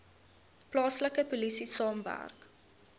plaaslike polisie saamwerk